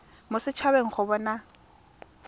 mo set habeng go bona